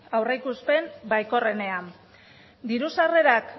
aurreikuspen baikorrenean diru sarrerak